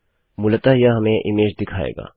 मूलतः यह हमें इमेज दिखाएगा